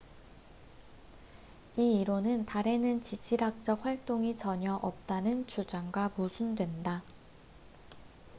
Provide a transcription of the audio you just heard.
이 이론은 달에는 지질학적 활동이 전혀 없다는 주장과 모순된다